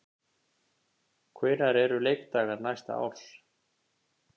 Hvenær eru leikdagar næsta árs?